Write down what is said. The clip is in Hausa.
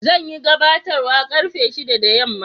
Zan yi gabatarwa karfe shida da yamma.